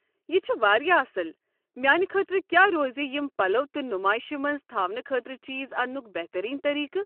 یہِ چھُ واریاہ اصٕل۔ میٛانہِ خٲطرٕ کیٛاہ روزِ یم پلو تہٕ نُمٲیشہِ منٛز تھاونہٕ خٲطرٕچیز انٛنُک بہترین طریٖقہٕ ؟